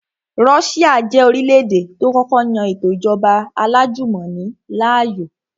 Russia jẹ́ orílẹ̀-èdè tó kọ́kọ́ yan ètò ìjọba alájùmọ̀ni láàyò